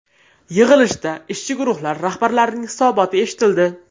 Yig‘ilishda ishchi guruhlar rahbarlarining hisoboti eshitildi.